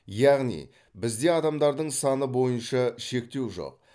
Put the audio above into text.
яғни бізде адамдардың саны бойынша шектеу жоқ